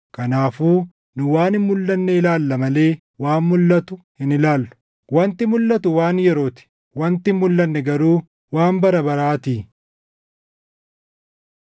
Kanaafuu nu waan hin mulʼanne ilaalla malee waan mulʼatu hin ilaallu. Wanti mulʼatu waan yeroo ti; wanti hin mulʼanne garuu waan bara baraatii.